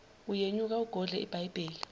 uyenyuka ugodle ibhayibheli